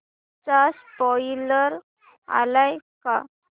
चा स्पोईलर आलाय का